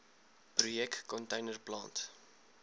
projek container plant